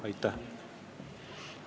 Aitäh!